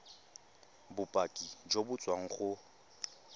bopaki jo bo tswang go